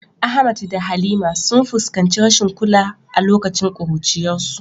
Ahmad da Halima sun fuskanci rashin kula a lokacin kuruciyarsu.